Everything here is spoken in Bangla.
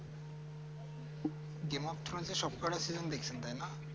game of throne সবকটা film দেখেছেন তাই না